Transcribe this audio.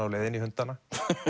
á leiðinni í hundana